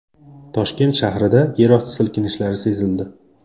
Toshkent shahrida yerosti silkinishlari sezildi.